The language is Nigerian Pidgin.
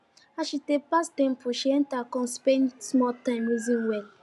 as she dey pass temple she enter come spend small time reason well